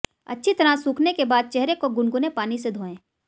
अच्छी तरह सूखने के बाद चेहरे को गुनगुने पानी से धोएं